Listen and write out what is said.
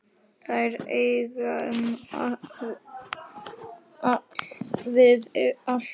Þær eigum við alltaf.